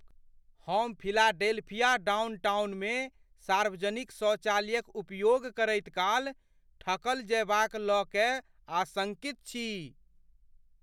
हम फिलाडेल्फिया डाउनटाउनमे सार्वजनिक शौचालयक उपयोग करैत काल ठकल जएबाक लऽ कए आशङ्कित छी।